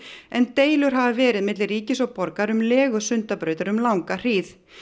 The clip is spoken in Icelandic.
en deilur hafa verið milli ríkis og borgar um legu Sundabrautar um langa hríð